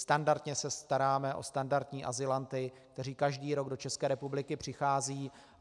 Standardně se staráme o standardní azylanty, kteří každý rok do České republiky přicházejí.